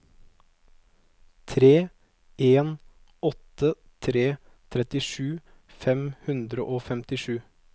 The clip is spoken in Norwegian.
tre en åtte tre trettisju fem hundre og femtisju